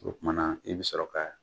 O kuma na i bi sɔrɔ ka.